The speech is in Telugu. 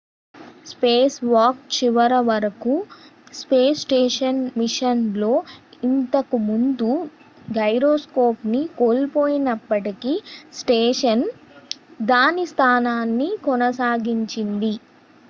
స్పేస్ వాక్ చివర వరకు స్పేస్ స్టేషన్ మిషన్ లో ఇంతకు ముందు గైరోస్కోప్ ను కోల్పోయినప్పటికీ స్టేషన్ దాని స్థానాన్ని కొనసాగించింది